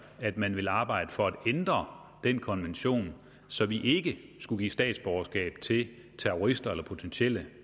at man vil arbejde for at ændre den konvention så vi ikke skal give statsborgerskab til terrorister eller potentielle